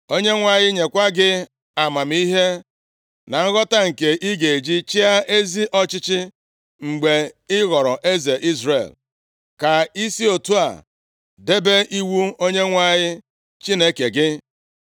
Onyenwe anyị nyekwa gị amamihe na nghọta nke ị ga-eji chịa ezi ọchịchị mgbe ị ghọrọ eze Izrel, ka i si otu a debe iwu Onyenwe anyị Chineke gị.